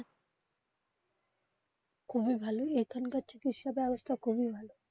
খুবই ভালো এখানকার চিকিৎসা ব্যবস্থা খুবই ভালো.